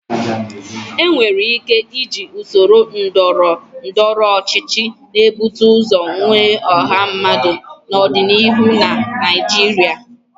Enwere ike iji usoro ndọrọndọrọ ọchịchị na-ebute ụzọ nwe ọha mmadụ n'ọdịnihu na Naijiria.